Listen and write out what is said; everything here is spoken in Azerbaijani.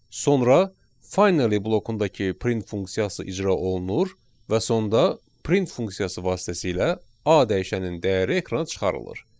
Sonra finally blokundakı print funksiyası icra olunur və sonda print funksiyası vasitəsilə A dəyişəninin dəyəri ekrana çıxarılır.